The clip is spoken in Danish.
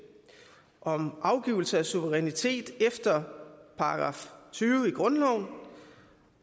om afgivelse af suverænitet efter § tyve i grundloven